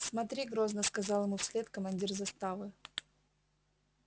смотри грозно сказал ему вслед командир заставы